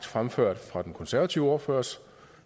fremført fra den konservative ordførers